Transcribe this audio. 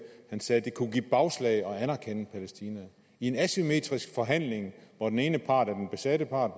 sagde han at det kunne give bagslag at anerkende palæstina i en asymmetrisk forhandling hvor den ene part er den besatte part